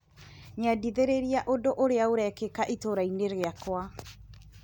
Nyendithĩrĩria undũ ũrĩa ũrekĩka itũra-inĩ rĩakwa .